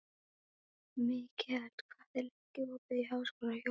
Mikkel, hvað er lengi opið í Háskólanum á Hólum?